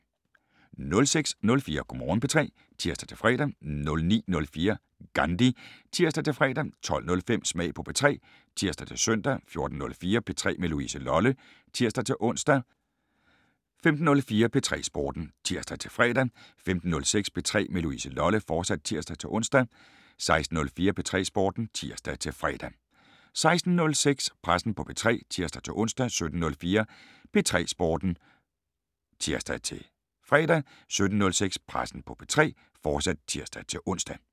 06:04: Go' Morgen P3 (tir-fre) 09:04: GANDHI (tir-fre) 12:05: Smag på P3 (tir-søn) 14:04: P3 med Louise Lolle (tir-ons) 15:04: P3 Sporten (tir-fre) 15:06: P3 med Louise Lolle, fortsat (tir-ons) 16:04: P3 Sporten (tir-fre) 16:06: Pressen på P3 (tir-ons) 17:04: P3 Sporten (tir-fre) 17:06: Pressen på P3, fortsat (tir-ons)